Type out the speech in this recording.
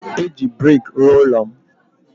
Eji brik rụọ ụlọ m